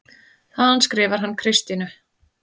Þaðan skrifar hann Kristínu